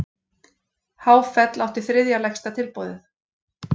Háfell átti þriðja lægsta tilboðið